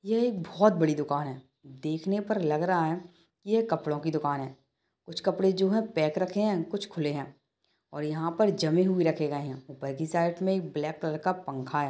यह एक बहोत बड़ी दुकान हैं देखने पर लग रहा है यह कपड़ो की दुकान है कुछ कपड़े जो हैं पैक रखे है कुछ खुले हैं और यहा पर जमें हुए रखे गए है उपर की साइड मे एक ब्लैक कलर का पंखा हैं।